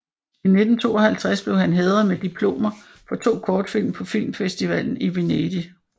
I 1952 blev han hædret med diplomer for to kortfilm på filmfestivalen i Venedig